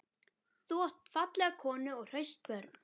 Þú átt fallega konu og hraust börn.